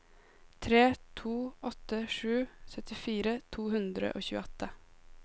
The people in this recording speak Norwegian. tre to åtte sju syttifire to hundre og tjueåtte